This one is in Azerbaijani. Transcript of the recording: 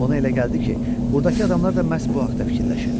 Ona elə gəldi ki, burdakı adamlar da məhz bu haqda fikirləşirlər.